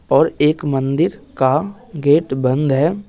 और एक मंदिर का गेट बंद है।